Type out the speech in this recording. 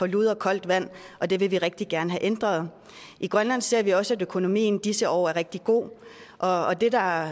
lud og koldt vand og det vil vi rigtig gerne have ændret i grønland ser vi også at økonomien i disse år er rigtig god og det der